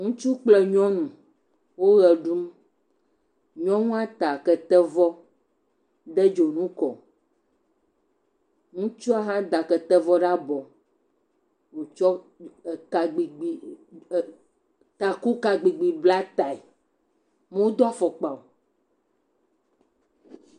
Ŋutsu kple nyɔnu. Wo ʋe ɖum. Nyɔnua ta ketevɔ. De dzonu kɔ. Ŋutsua hã da ketevɔ ɖe abɔ. Wòtsɔ kagbigbi ɛɛ takukagbigbi bla tae. Modo fɔkpa o